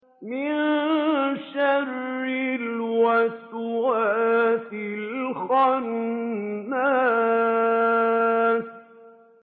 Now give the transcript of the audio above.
مِن شَرِّ الْوَسْوَاسِ الْخَنَّاسِ